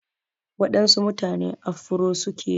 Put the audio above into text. Waɗansu mutane afuro suke yi.